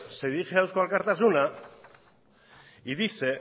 se dirige a eusko alkartasuna y dice